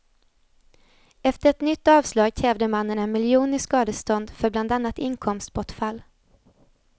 Efter ett nytt avslag krävde mannen en miljon i skadestånd för bland annat inkomstbortfall.